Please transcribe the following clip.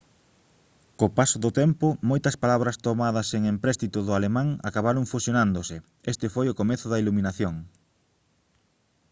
co paso do tempo moitas palabras tomadas en empréstito do alemán acabaron fusionándose este foi o comezo da iluminación